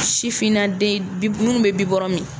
Sifinnaden ninnu bɛ bibɔrɔn min